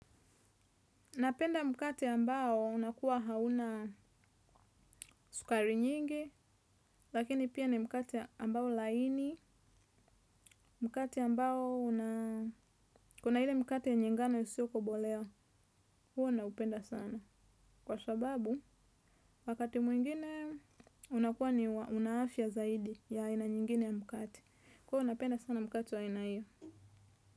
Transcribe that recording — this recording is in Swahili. Napenda mkate ambao unakuwa hauna sukari nyingi, lakini pia ni mkate ambao laini, mkate ambao una, kuna hile mkate enye ngano siyoko bolea, huwa naupenda sana. Kwa sababu, wakati mwingine unakuwa ni unaafia zaidi ya aina nyingine ya mkate. Kwo unapenda sana mkate wa aina hiyo.